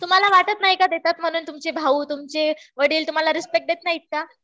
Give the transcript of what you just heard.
तुम्हाला वाटत नाही का देतात म्हणून. तुमचे भाऊ, तुमचे वडील तुम्हाला रिस्पेक्ट देत नाहीत का?